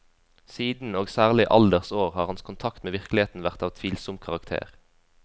Siden, og særlig i alders år, har hans kontakt med virkeligheten vært av tvilsom karakter.